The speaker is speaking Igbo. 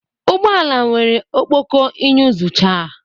Ụgbọ ala nwere ọkpọkọ iyuzucha